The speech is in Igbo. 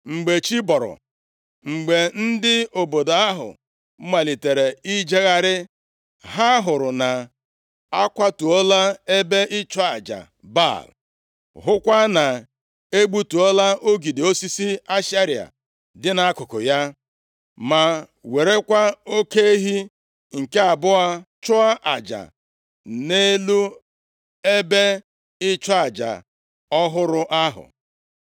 Mgbe chi bọrọ, mgbe ndị obodo ahụ malitere ijegharị, ha hụrụ na a kwatuola ebe ịchụ aja Baal, hụkwa na e gbutuola ogidi osisi Ashera dị nʼakụkụ ya, ma werekwa oke ehi nke abụọ chụọ aja nʼelu ebe ịchụ aja ọhụrụ ahụ!